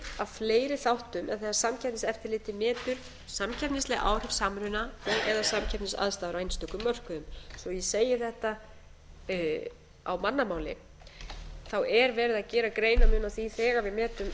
af fleiri þáttum en þegar samkeppniseftirlitið metur samkeppnisleg áhrif samruna og eða samkeppnisaðstæður á einstökum mörkuðum svo ég segi þetta á mannamáli er verið að gera greinarmun á því þegar við metum samþjöppun